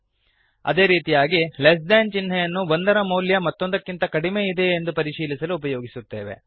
ಅದೇ ರೀತಿಯಾಗಿ less than less than ಚಿಹ್ನೆಯನ್ನು ಒಂದರ ಮೌಲ್ಯ ಮತ್ತೊಂದಕ್ಕಿಂತ ಕಡಿಮೆ ಇದೆಯೇ ಎಂದು ಪರಿಶೀಲಿಸಲು ಉಪಯೋಗಿಸುತ್ತೇವೆ